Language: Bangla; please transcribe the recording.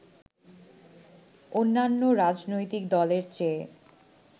অন্যান্য রাজনৈতিক দলের চেয়ে